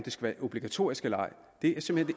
obligatorisk eller ej det er simpelt